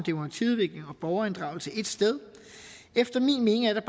om borgerinddragelse ét sted efter min mening er der